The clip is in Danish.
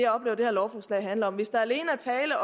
oplever det her lovforslag handler om hvis der alene er tale